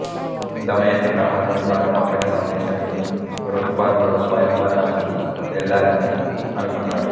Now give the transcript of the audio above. దమయంతి బ్రాహ్మణుని ద్వారా పంపిన సందేశం విని ఋతుపర్ణుడు స్వయంవరానికి వెళ్ళాలని అనుకున్నాడు